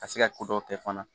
Ka se ka ko dɔw kɛ fana